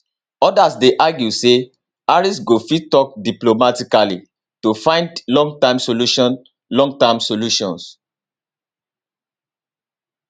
odas dey argue say harris go fit tok diplomatically to find longterm solutions longterm solutions